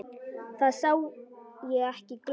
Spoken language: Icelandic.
Þá sá ég ekki glóru.